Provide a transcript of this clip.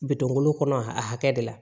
Bitɔn golo kɔnɔ a hakɛ de la